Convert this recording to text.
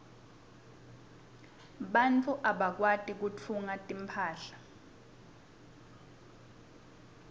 bantfu labakwati kutfunga timphahla